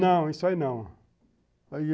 Não, isso aí não.